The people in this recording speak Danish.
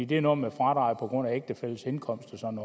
det er noget med fradraget på grund af ægtefællens indkomst og sådan